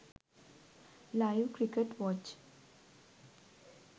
live cricket watch